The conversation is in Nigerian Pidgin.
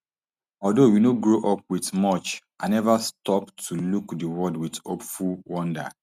although we no grow up with much i never stop to look di world wit hopeful wonder